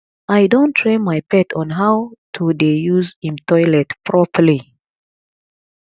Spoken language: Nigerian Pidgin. i don train my pet on how to dey use im toilet properly